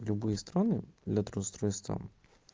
любые страны для трудоустройства